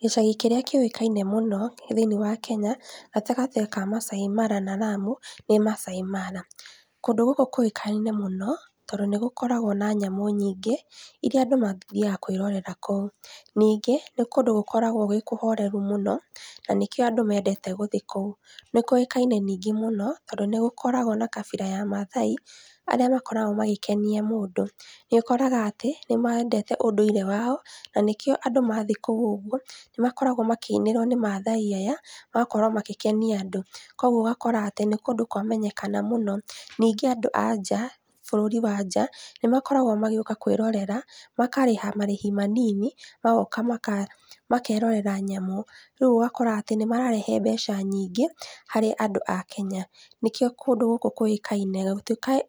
Gĩcagi kĩrĩa kĩũĩkaine mũno thiĩnĩ wa Kenya, Gatagati ka Masai Mara na Lamu, nĩ Masai Mara. Kũndũ gũkũ kũĩkaine mũno, tondũ nĩgũkoragwo na nyamũ nyingĩ, iria andũ mathiaga kwĩrorera kũu. Ningĩ nĩ kũndũ gũkoragwo gwĩ kũhoreru mũno, na nĩkĩo andũ mendete gũthiĩ kũu. Nĩkũĩkaine ningĩ mũno, tondũ nĩgũkoragwo na kabira ya mathai, arĩa makoragwo magĩkenia mũndũ. Nĩũkoraga atĩ nĩmendete ũndũire wao, na nĩkĩo andũ mathiĩ kũu ũgwo, nĩmakoragwo makĩinĩrwo nĩ mathai aya, ũgakora magĩkenia andũ. Koguo ũgakora atĩ nĩkũndũ kwamenyekana mũno. Ningĩ andũ a nja, bũrũri wa nja, nĩmakoragwo magĩũka kwĩrorera, makarĩha marĩhi manini, namoga maka makerirera nyamũ. Rĩu ũgakora atĩ nĩmararehe mbeca nyingĩ, harĩ andũ a Kenya. Nĩkio kũndũ gũkũ kũĩkaine,